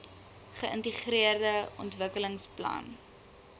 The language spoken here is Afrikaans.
geintegreerde ontwikkelingsplan idp